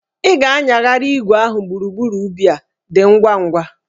Ị ga-anyagharị igwe ahụ gburugburu ubi a, dị ngwa ngwa!